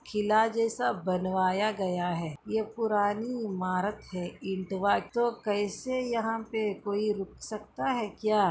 किला जैसा बनाया गया है ये पुरानी इमारत है इटावा तो कैसे यहाँ पे कोई रुक सकता है क्या --